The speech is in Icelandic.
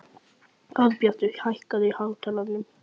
Árbjartur, hækkaðu í hátalaranum.